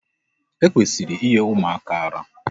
E kwesịrị inye ụmụaka ara.